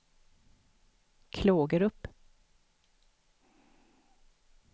Klågerup